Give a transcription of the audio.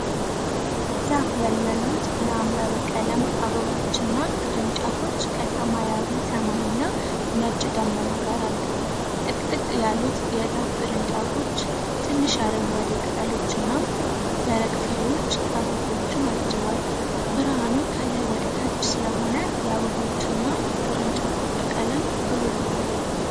ዛፍ ላይ ያሉት የሐምራዊ ቀለም አበባዎችና ቅርንጫፎች ከሰማያዊ ሰማይና ነጭ ደመና ጋር አሉ። ጥቅጥቅ ያሉት የዛፉ ቅርንጫፎች፣ ትንሽ አረንጓዴ ቅጠሎችና ደረቅ ፍሬዎች አበቦቹን አጅበዋል። ብርሃኑ ከላይ ወደ ታች ስለሆነ የአበቦቹ እና ቅርንጫፎቹ ቀለም ብሩህ ሆኗል።